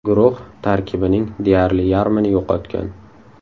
Guruh tarkibining deyarli yarmini yo‘qotgan.